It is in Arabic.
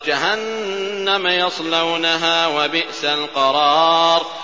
جَهَنَّمَ يَصْلَوْنَهَا ۖ وَبِئْسَ الْقَرَارُ